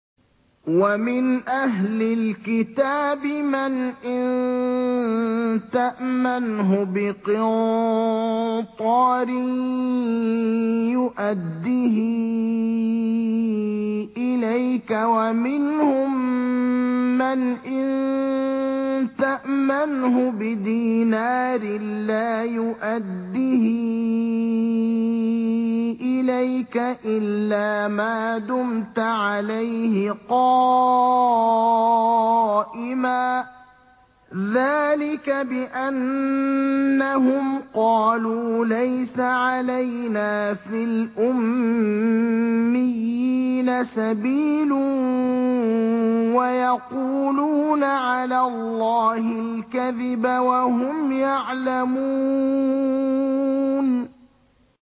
۞ وَمِنْ أَهْلِ الْكِتَابِ مَنْ إِن تَأْمَنْهُ بِقِنطَارٍ يُؤَدِّهِ إِلَيْكَ وَمِنْهُم مَّنْ إِن تَأْمَنْهُ بِدِينَارٍ لَّا يُؤَدِّهِ إِلَيْكَ إِلَّا مَا دُمْتَ عَلَيْهِ قَائِمًا ۗ ذَٰلِكَ بِأَنَّهُمْ قَالُوا لَيْسَ عَلَيْنَا فِي الْأُمِّيِّينَ سَبِيلٌ وَيَقُولُونَ عَلَى اللَّهِ الْكَذِبَ وَهُمْ يَعْلَمُونَ